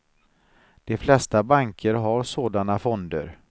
De flesta banker har sådana fonder.